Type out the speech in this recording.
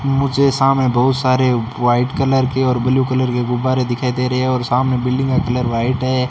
मुझे सामने बहुत सारे वाइट कलर के और ब्लू कलर के गुब्बारे दिखाई दे रहे और सामने बिल्डिंग का कलर वाइट है।